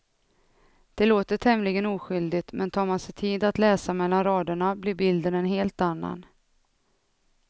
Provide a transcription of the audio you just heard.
Det låter tämligen oskyldigt, men tar man sig tid att läsa mellan raderna blir bilden en helt annan.